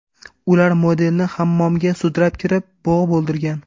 Ular modelni hammomga sudrab kirib, bo‘g‘ib o‘ldirgan.